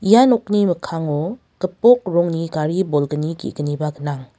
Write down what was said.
ia nokni mikkango gipok rongni gari bolgni ge·gniba gnang.